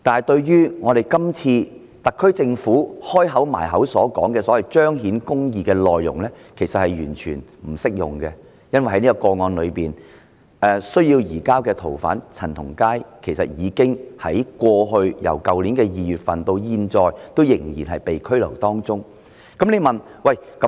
特區政府今次經常提到要彰顯公義，其實這一點是完全不成立的，因為在這宗個案中需要移交的逃犯陳同佳，自去年2月至今仍被拘留。